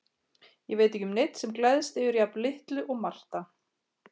Ég veit ekki um neinn sem gleðst yfir jafn litlu og Marta.